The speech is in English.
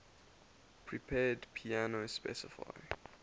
prepared piano specify